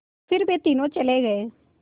फिर वे तीनों चले गए